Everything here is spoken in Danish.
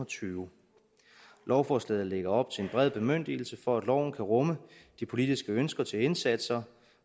tyve lovforslaget lægger op til en bred bemyndigelse for at loven kan rumme de politiske ønsker til indsatser